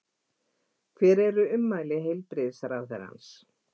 Hvar er ummæli heilbrigðisráðherrans?